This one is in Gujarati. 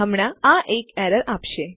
હમણાં આ એક એરર આપશે